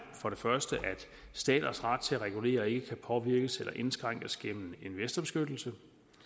at staters ret til at regulere ikke kan påvirkes eller indskrænkes gennem investorbeskyttelse